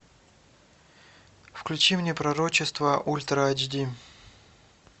включи мне пророчество ультра эйч ди